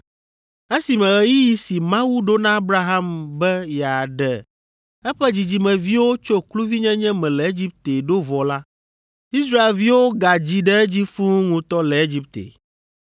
“Esime ɣeyiɣi si Mawu ɖo na Abraham be yeaɖe eƒe dzidzimeviwo tso kluvinyenye me le Egipte ɖo vɔ la, Israelviwo gadzi ɖe edzi fũu ŋutɔ le Egipte.